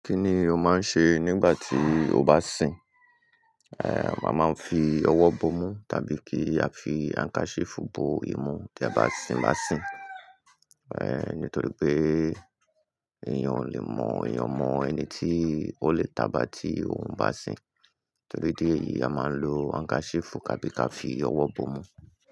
Kí ni o máa ń ṣe nígbà tí o bá sìn? A máa ń fi ọwọ́ bomú tàbí kí a fi handkerchief bo imú tí a bá sìn bá sìn. Eh, nítorí pé èèyàn ò lè mọ èèyàn mọ ẹni tí ó lè tá bá tí òun bá sìn. Nítorí dí ẹ̀yìí a máa ń lo handkerchief tàbí ká fi ọwọ́ bomú.